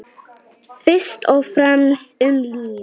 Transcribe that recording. Fyrst og fremst um líf.